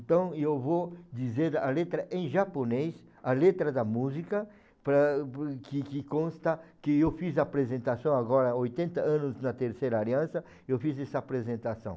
Então, e eu vou dizer a letra em japonês, a letra da música, para por que que consta que eu fiz a apresentação agora, há oitenta anos na Terceira Aliança, eu fiz essa apresentação.